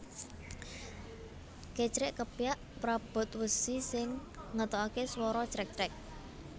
Kecrèk kepyak prabot wesi sing ngetokake swara crek crek